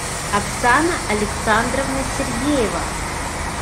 оксана александровна сергеева